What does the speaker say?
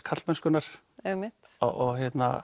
karlmennskunnar og